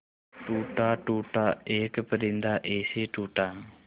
टूटा टूटा एक परिंदा ऐसे टूटा